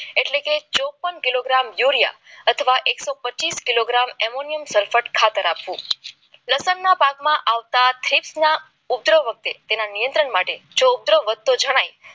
એટલે કે ચોપન કિલોગ્રામ યુરિયા અથવા એક સો પચીસ કિલોગ્રામ એમોનિયા સરપેટ ખાતર આપવું લસણના પાકમાં આવતા થેપલા ઉપર જ વખતે નિયંત્રણ માટે પધારો વધતો જણાય